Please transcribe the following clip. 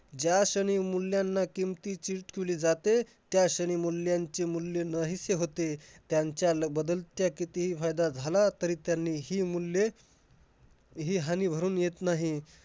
ज्याक्षणी मुल्याना किमतीची तूली जाते. त्याक्षणी मूल्यांचे मूल्य नाहीसे होते. त्यांच्याला बदल त्या कितीही फायदा झाला तरी त्यांनी हि मूल्ये हि हानी भरून येत नाही.